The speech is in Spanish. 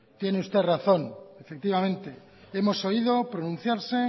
tiene usted razón efectivamente hemos oído pronunciarse